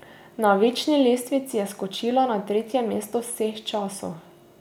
Na večni lestvici je skočila na tretje mesto vseh časov.